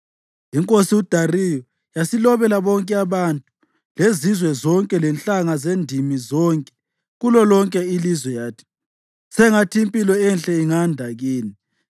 Inkosi uDariyu yasilobela bonke abantu, lezizwe zonke lenhlanga zendimi zonke kulolonke ilizwe yathi: “Sengathi impilo enhle inganda kini!